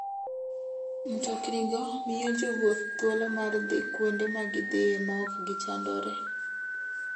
Mtoknigo miyo jowuoth thuolo mar dhi kuonde ma gidhiye maok gichandore.